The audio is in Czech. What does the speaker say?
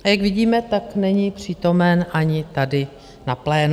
A jak vidíme, tak není přítomen ani tady na plénu.